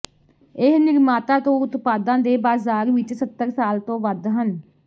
ਇਸ ਨਿਰਮਾਤਾ ਤੋਂ ਉਤਪਾਦਾਂ ਦੇ ਬਾਜ਼ਾਰ ਵਿਚ ਸੱਤਰ ਸਾਲ ਤੋਂ ਵੱਧ ਹਨ